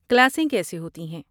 کلاسیں کیسے ہوتی ہیں؟